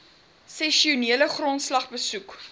sessionele grondslag besoek